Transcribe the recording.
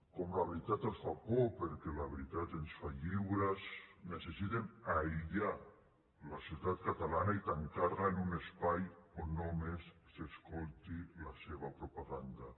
com que la veritat els fa por perquè la veritat ens fa lliures necessiten aïllar la societat catalana i tancar la en un espai on només s’escolti la seva propaganda